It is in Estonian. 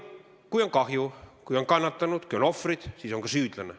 Kui on kahju, kui on kannatanud, kui on ohvrid, siis on ka süüdlane.